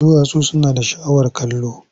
Duwatsu suna da sha'awar kallo.